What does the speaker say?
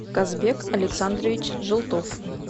казбек александрович желтов